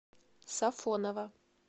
сафоново